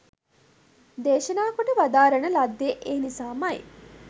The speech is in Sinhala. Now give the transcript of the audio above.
දේශනා කොට වදාරණ ලද්දේ ඒ නිසාමයි.